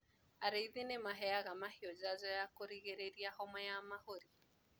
Arĩithi nĩmaheaga mahiũ njanjo ya kũrigĩrĩria homa ya mahũri.